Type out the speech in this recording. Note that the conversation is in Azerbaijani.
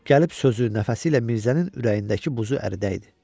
Gəlib sözü nəfəsi ilə Mirzənin ürəyindəki buzu əridəydi.